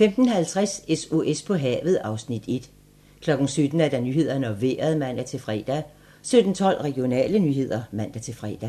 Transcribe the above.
15:50: SOS på havet (Afs. 1) 17:00: Nyhederne og Vejret (man-fre) 17:12: Regionale nyheder (man-fre)